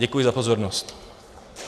Děkuji za pozornost.